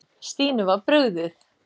Stínu var brugðið.